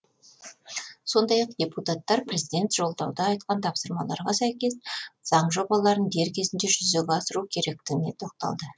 сондай ақ депутаттар президент жолдауда айтқан тапсырмаларға сәйкес заң жобаларын дер кезінде жүзеге асыру керектігіне тоқталды